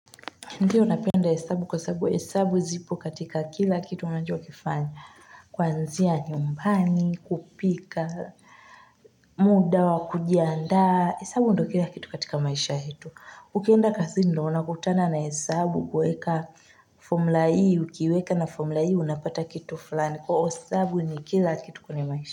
Ndiyo unapenda hesabu kwa hesabu zipo katika kila kitu unanjua kifanya. Kwanzia nyumbani, kupika, muda wa kujiaada. Hesabu ndo kila kitu katika maisha yetu. Ukienda kazi ndo unakutana na hesabu kweka formula hii ukiweka na formula i unapata kitu fulani. Kwa hesabu ni kila kitu kwenye maisha.